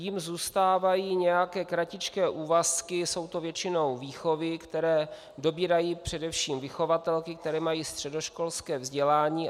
Jim zůstávají nějaké kratičké úvazky, jsou to většinou výchovy, které dobírají především vychovatelky, které mají středoškolské vzdělání.